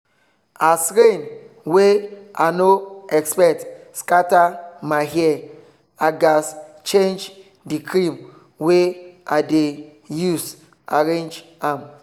as rain wey i no expect scatter my hair i gaz change the cream wey i dey use arrange am